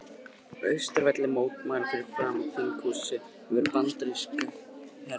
Austurvelli til að mótmæla fyrir framan þinghúsið veru bandaríska herliðsins hér á landi.